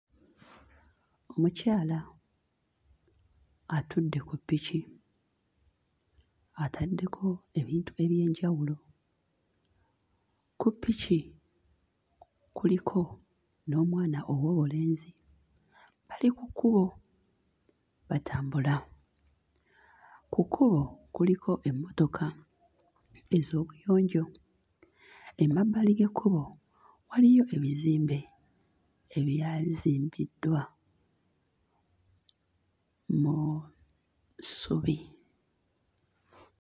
Mukyala atudde ku ppiki ataddeko ebintu eby'enjawulo. Ku ppiki kuliko n'omwama ow'obulenzi bali ku kkubo batambula. Ku kkubo kuliko emmotoka ez'obuyonjo, emabbali g'ekkubo waliyo ebizimbe ebyazimbiddwa muu ssubi.